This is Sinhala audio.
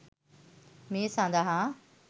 මේ සඳහා